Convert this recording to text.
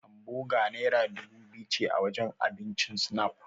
Hamboga yanzu naira dubu biyu ce a wajen abincin Snap.